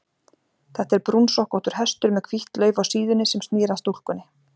Þetta er brúnsokkóttur hestur með hvítt lauf á síðunni, sem snýr að stúlkunni.